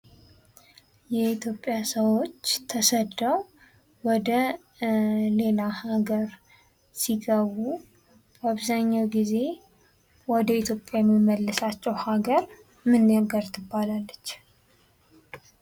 የኢትዮጵያ ሰዎች ተሰደው ወደ ሌላ ሀገር ሲገቡ አብዛኛው ጊዜ ወደ ኢትዮጵያ የሚመልሳቸው ሀገር ምን ሀገር ትባላለች?